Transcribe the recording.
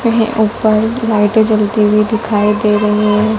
एह ऊपर लाइटे जलती हुई दिखाई दे रही हैं।